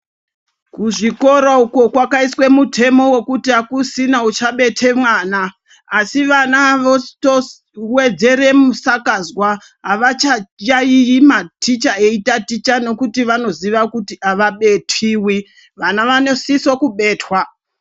Kuzvikora uko kwakaiswa mutemo wekuti akusina uchabete mwana asi vana votowedzera musikazwa avachayaiyi maticha ayi ticha nekuti vanoziva kuti avabetiwi. Vana vanositsa kubetwa.